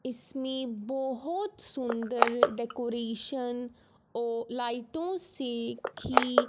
इसमें बहुत सुंदर डेकोरेशन औ लाइटों से की--